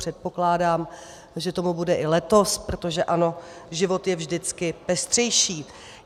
Předpokládám, že tomu bude i letos, protože ano, život je vždycky pestřejší.